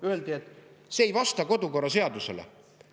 Öeldi, et see ei vasta kodukorraseadusele.